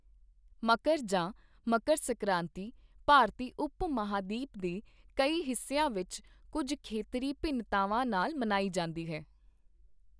ਮਕਰ ਜਾਂ ਮਕਰ ਸੰਕ੍ਰਾਂਤੀ ਭਾਰਤੀ ਉਪ ਮਹਾਂਦੀਪ ਦੇ ਕਈ ਹਿੱਸਿਆਂ ਵਿੱਚ ਕੁੱਝ ਖੇਤਰੀ ਭਿੰਨਤਾਵਾਂ ਨਾਲ ਮਨਾਈ ਜਾਂਦੀ ਹੈ।